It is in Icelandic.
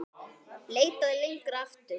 Leitað lengra aftur.